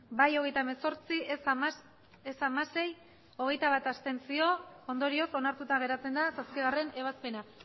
bai hogeita hemezortzi ez hamasei abstentzioak hogeita bat ondorioz onartuta geratzen da zazpigarrena ebazpena